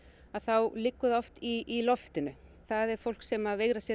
þá liggur það oft í loftinu það er fólk sem veigrar sér